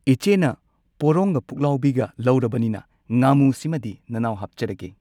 ꯏꯆꯦꯅ ꯄꯣꯔꯣꯡꯒ ꯄꯨꯛꯂꯥꯎꯕꯤꯒ ꯂꯧꯔꯕꯅꯤꯅ ꯉꯥꯃꯨ ꯁꯤꯃꯗꯤ ꯅꯅꯥꯎ ꯍꯥꯞꯆꯔꯒꯦ